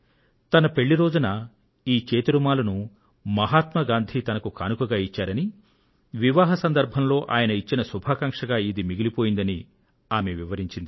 తన పెళ్లి రోజున ఈ చేతి రుమాలును మహాత్మ గాంధీ గారు తనకు కానుకగా ఇచ్చారని వివాహ సందర్భంలో ఆయన ఇచ్చిన శుభాకాంక్షగా ఇది మిగిలిపోయిందని ఆమె వివరించారు